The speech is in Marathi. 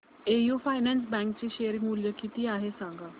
एयू फायनान्स बँक चे शेअर मूल्य किती आहे सांगा